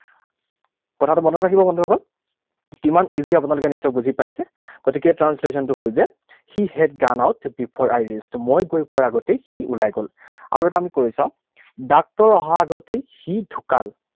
কথাটো মনত ৰাখিব বন্ধুসকল। কিমান easy আপোনালোকে নিশ্চয় বুজি পাইছে। গতিকে translation টো হল যে he had gone out before I reached, মই গৈ পোৱাৰ আগতেই সি ওলাই গল। আৰু এটা আমি কৰি চাওঁ। ডাক্তৰ অহাৰ আগতেই সি ঢুকাল।